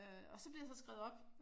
Og så bliver jeg så skrevet op